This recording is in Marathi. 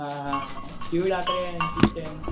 हां हां एम सी स्टॅन